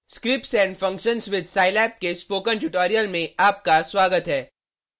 scripts and functions with scilab के spoken tutorial में आपका स्वागत है